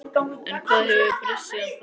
En hvað hefur breyst síðan þá?